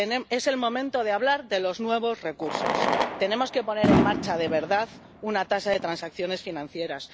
Es el momento de hablar de los nuevos recursos tenemos que poner en marcha, de verdad, una tasa de transacciones financieras